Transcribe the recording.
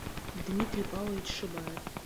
дмитрий павлович шибаев